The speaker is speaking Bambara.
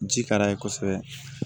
Ji ka d'a ye kosɛbɛ